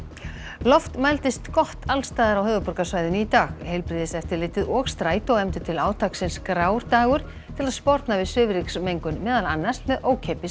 loft mældist gott alls staðar á höfuðborgarsvæðinu í dag heilbrigðiseftirlitið og Strætó efndu til átaksins grár dagur til að sporna við svifryksmengun meðal annars með ókeypis